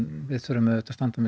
við verðum að standa með